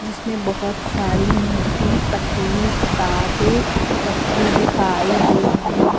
उसमें बहोत सारी मोटी पतली किताबें रखी दिखाई दे रही हैं।